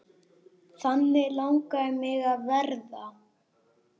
Þannig langaði mig að verða.